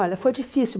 Olha, foi difícil.